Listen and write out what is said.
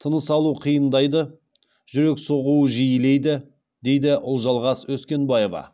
тыныс алу қиындайды жүрек соғуы жиілейді дейді ұлжалғас өскенбаева